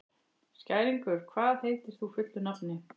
Skæringur, hvað heitir þú fullu nafni?